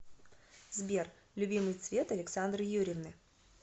сбер любимый цвет александры юрьевны